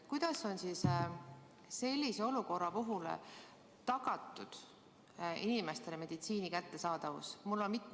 Kuidas on sellises olukorras tagatud inimestele meditsiini kättesaadavus?